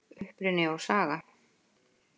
Uppruni og saga